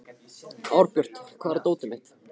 Árbjört, hvar er dótið mitt?